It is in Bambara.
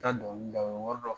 Ka dɔngili lamɛn o ye wari dɔ